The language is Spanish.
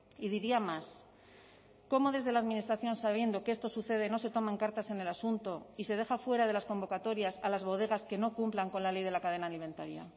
y diría más cómo desde la administración sabiendo que esto sucede no se toman cartas en el asunto y se deja fuera de las convocatorias a las bodegas que no cumplan con la ley de la cadena alimentaria